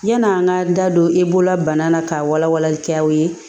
Yan'an ka da don e bolola bana na ka wala walalikɛlaw ye